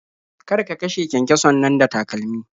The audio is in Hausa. Kar ka kashe kyankyason nan da takalmi.